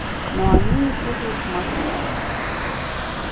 но они не придут в москву